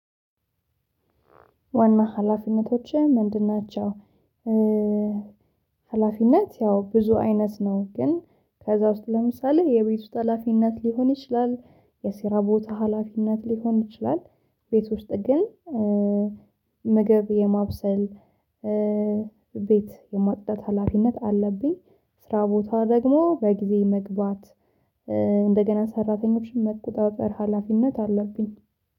ዋና ሀላፊነቶች ምንድን ናቸው? ሀላፊነት ያው ብዙ አይነት ነው ግን ከዛ ውስጥ ለምሳሌ የቤት ውስጥ ሀላፊነት ሊሆን ይችላል የስራ ቦታ ሀላፊነት ሊሆን ይችላል ቤት ውስጥ ግን ምግብ የማብሰል ቤት የማጽዳት ሀላፊነት አለብኝ ስራ ቦታ ደግሞ በጊዜ መግባት እንደገና ሰራተኞችን መቆጣጠር ሀላፊነት አለብኝ